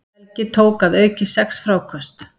Helgi tók að auki sex fráköst